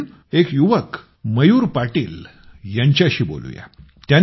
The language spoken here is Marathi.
आज आपण एक युवक मयूर पाटील यांच्याशी बोलूया